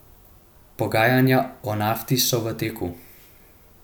Pogajanja o Nafti so v teku.